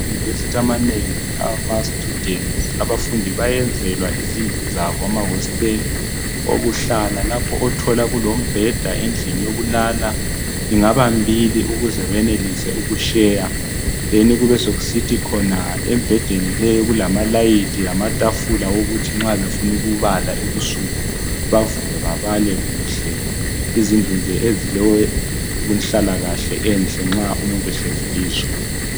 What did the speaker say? Emayunivesiti amanengi amastudents abafundi bayenzelwa izindlu zabo amahositeli okuhlala lapho othola kulombheda endlini yokulala. lngaba mbili ukuze benelise ukusheya then kubesekusithi khona embhedeni leyo kulamalayithi lamatafula owokuthi nxa befunukubala ebusuku bavuke babale kuhle. Yizindlu nje ezile nhlalakahle enhle nxa umuntu ehlezi kizo.